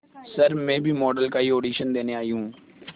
sir मैं भी model का ही ऑडिशन देने आई हूं